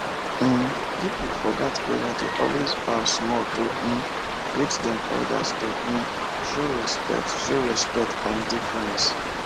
um people for that area dey always bow small to um greet dem elders to um show respect show respect and deference